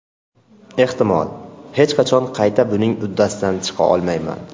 Ehtimol, hech qachon qayta buning uddasidan chiqa olmayman.